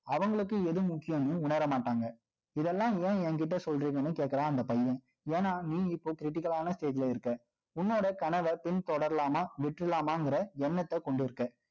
அவங்களுக்கு, எது முக்கியம்ன்னு, உணர மாட்டாங்கஇதெல்லாம் ஏன் என்கிட்ட சொல்றீங்கன்னு கேட்கிறான், அந்த பையன். ஏன்னா, நீ இப்போ critical ஆன stage ல இருக்க உன்னோட கனவை, பின் தொடரலாமா? விட்றலாமாங்கிற, எண்ணத்தை கொண்டிருக்க.